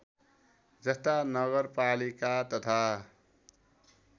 जस्ता नगरपालिका तथा